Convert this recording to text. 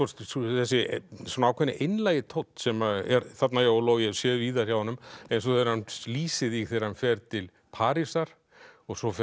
þessi svona ákveðni einlægi tónn sem er þarna hjá Ólafi og ég hef séð víðar hjá honum eins og þegar hann lýsir því þegar hann fer til Parísar og svo fer